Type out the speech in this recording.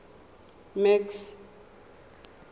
max